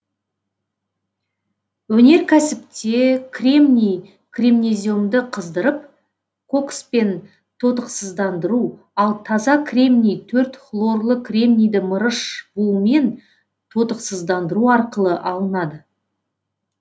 өнеркәсіпте кремний кремнеземді қыздырып кокспен тотықсыздандыру ал таза кремний төрт хлорлы кремнийді мырыш буымен тотықсыздандыру арқылы алынады